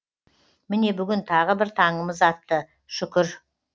міне бүгін тағы бір таңымыз атты шүкір